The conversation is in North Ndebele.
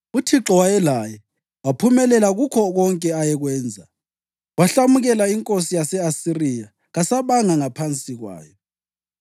UThixo wayelaye; waphumelela kukho konke ayekwenza. Wahlamukela inkosi yase-Asiriya kasabanga ngaphansi kwayo.